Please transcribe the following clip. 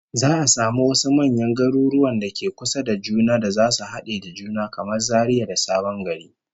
Za'a samu wasu manyan garuruwan da ke kusa da juna da zasu hade da juna, kamar Zaria da Sabon Gari